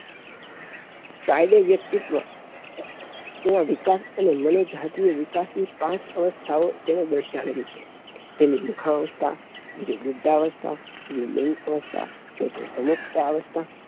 Freud એ વ્યક્તિત્વ તેના વિકાસ અને મનોચાહક નાં વિકાસ ની પાંચ અવસ્થા તેણે દર્શાવેલી છે તેની મુખાઅવસ્થા બીજું મૃદાઅવસ્થા ત્રીજું લિન્ગઅવસ્થા ચૉથ્થું સમુક્તાઅવસ્થા